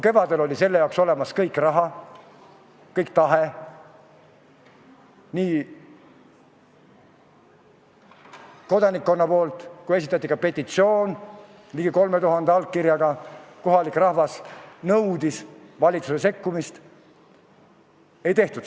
Kevadel, kui oli olemas raha ja kodanikkonna tahe, esitati ka petitsioon ligi 3000 allkirjaga, kohalik rahvas nõudis valitsuse sekkumist, seda ei tehtud.